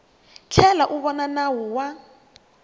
tlhela u vona nawu wa